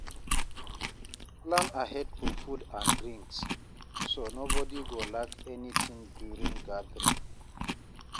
Plan ahead for food and drinks, so nobody go lack anything during gathering.